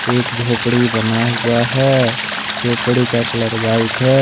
एक झोपड़ी बना हुआ है झोपड़ी का कलर व्हाइट है।